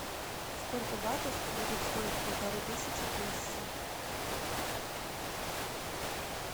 сколько батов будет стоить полторы тысячи песо